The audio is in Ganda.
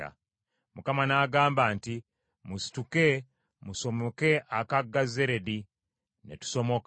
Mukama n’agamba nti, “Musituke musomoke akagga Zeredi.” Ne tusomoka.